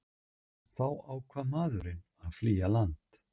Þá ákvað maðurinn að flýja land